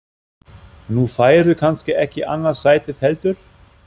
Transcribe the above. Nú færðu kannski ekki annað sætið heldur?